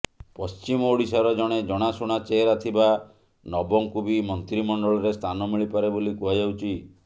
ପଶ୍ଚିମ ଓଡ଼ିଶାର ଜଣେ ଜଣାଶୁଣା ଚେହେରା ଥିବା ନବଙ୍କୁ ବି ମନ୍ତ୍ରିମଣ୍ଡଳରେ ସ୍ଥାନ ମିଳିପାରେ ବୋଲି କୁହାଯାଉଛି